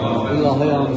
Amin.